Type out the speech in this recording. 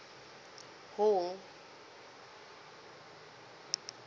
hall